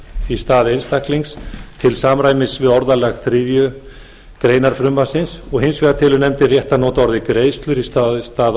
í stað einstaklings til samræmis við orðalag þriðju greinar frumvarpsins hins vegar telur nefndin rétt að nota orðið greiðslur í stað orðsins bætur